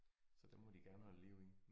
Så den må de gerne holde liv i